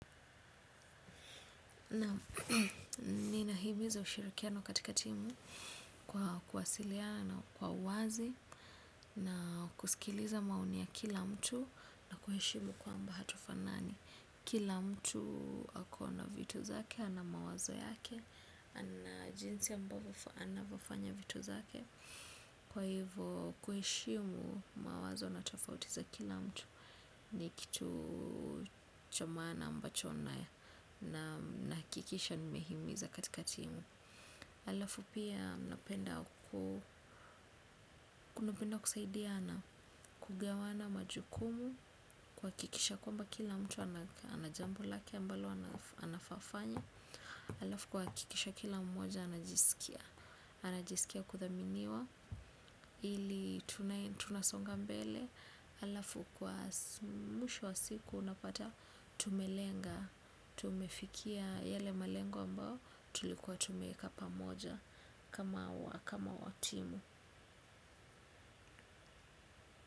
Naam nina himiza ushirikiano katika timu kwa kuwasiliana kwa uwazi na kusikiliza maoni ya kila mtu na kuheshimu kwamba hatufanani. Kila mtu akona vitu zake, ana mawazo yake, ana jinsi ambavyo anavyofanya vitu zake. Kwa hivyo kuheshimu mawazo na tofauti za kila mtu ni kitu cha maana ambacho nahakikisha nime himiza katika timu. Alafu pia napenda kuna penda kusaidiana kugawana majukumu kuhakikisha kwa mba kila mtu ana jambo lake ambalo anafanya. Alafu kuhakikisha kila mmoja anajisikia. Anajisikia kuthaminiwa ili tunasonga mbele halafu kwa mwimsho wa siku unapata tumelenga. Tumefikia yale malengo ambao tulikuwa tumeeka pamoja kama wa kama wa timu.